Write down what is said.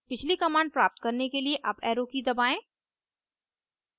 पिछली command प्राप्त करने के लिए अप arrow की दबाएं